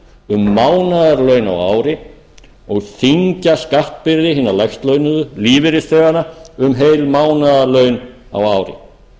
um mánaðarlaun á ári og þyngja skattbyrði hinna lægst launuðu lífeyrisþeganna um heil mánaðarlaun á ári